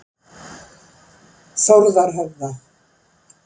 Þórðarhöfða